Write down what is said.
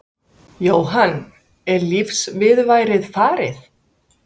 Jóhann: Er lífsviðurværið farið?